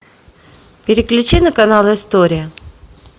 переключи на канал история